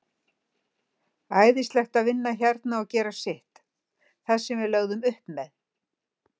Æðislegt að vinna hérna og gera sitt, það sem við lögðum upp með.